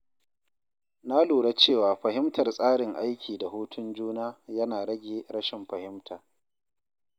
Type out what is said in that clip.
Na lura cewa fahimtar tsarin aiki da hutun juna yana rage rashin fahimta.